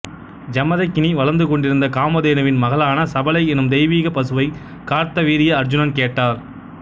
ஜமதக்கினி வளர்த்துக் கொண்டிருந்த காமதேனுவின் மகளான சபலை எனும் தெய்வீகப் பசுவவை கார்த்தவீரிய அருச்சுனன் கேட்டார்